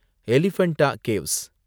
Elephanta caves